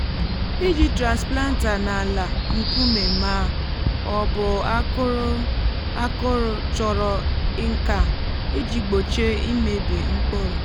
iji transplanter n’ala um nkume ma um ọ bụ akụrụ akụrụ chọrọ nka iji gbochie imebi mkpụrụ.